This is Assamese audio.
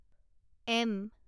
এম